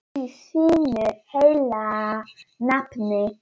Í þínu heilaga nafni.